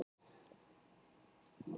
Fundarefnið var aðeins eitt